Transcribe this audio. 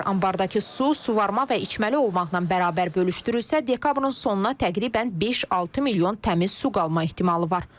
Anbardakı su suvarma və içməli olmaqla bərabər bölüşdürülürsə, dekabrın sonuna təqribən 5-6 milyon təmiz su qalma ehtimalı var.